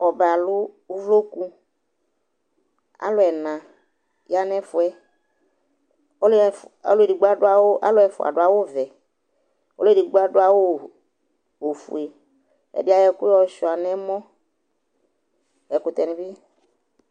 Ɔbɛ alʋ uvloku Alʋ ɛna ya nʋ ɛfʋ yɛ Ɔlʋ ɛf ɔlʋ edigbo adʋ awʋ alʋ ɛfʋa adʋ awʋvɛ, ɔlʋ edigbo adʋ awʋ ofue Ɛdɩ ayɔ ɛkʋ yɔsʋɩa nʋ ɛmɔ Ɛkʋtɛnɩ bɩ